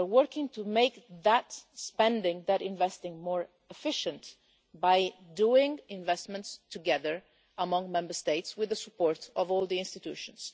We are working to make that spending and investment more efficient by making investments together among Member States, with the support of all the EU institutions.